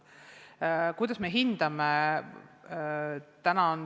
Kuidas me hindame?